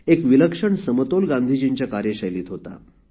एक विलक्षण समतोल गांधीजींच्या कार्यशैलीत होता